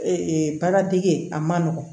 Ee baara dege a man nɔgɔn